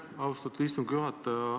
Austatud istungi juhataja!